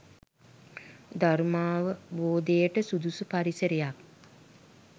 ධර්මාවබෝධයට සුදුසු පරිසරයක්